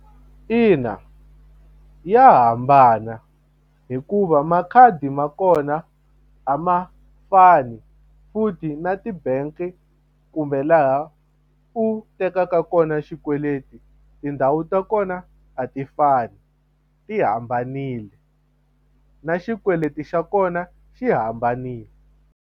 Ina ya hambana hikuva makhadi ma kona a ma fani futhi na ti-bank kumbe laha u tekaka kona xikweleti tindhawu ta kona a ti fani ti hambanile na xikweleti xa kona xi hambanile.